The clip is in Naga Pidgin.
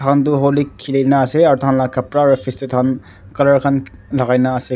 Tai kan to holi kheli kena ase aur tai khan laga kapra aru face dey taikan colour kan lakai kena ase.